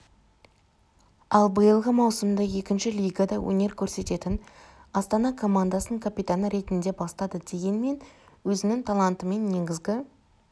ал биылғы маусымды екінші лигада өнер көрсететін астана-і командасының капитаны ретінде бастады дегенмен өзінің талантымен негізгі